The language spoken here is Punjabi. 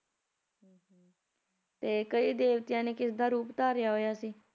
ਤੇ ਕਈ ਦੇਵਤਿਆਂ ਨੇ ਕਿਸ ਦਾ ਰੂਪ ਧਾਰਿਆ ਹੋਇਆ ਸੀ